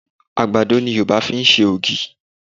Àgbàdo ni Yorùba fi ń ṣe ògì